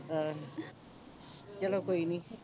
ਆਹੋ ਚਲੋ ਕੋਈ ਨਹੀਂ